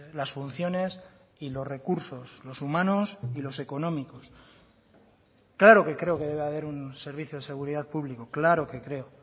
las funciones y los recursos los humanos y los económicos claro que creo que debe haber un servicio de seguridad público claro que creo